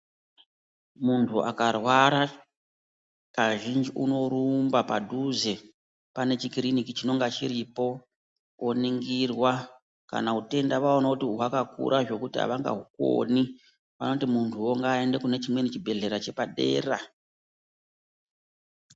Muntu akarwara kazhinji unoramba padhuze pane chikiriniki chiripo woningirwa. Kana utenda vaona kuti hwakakura zvekuti havangaukoni vanoti munhuwo ngaaende kune chimweni chibhedhlera chepadera.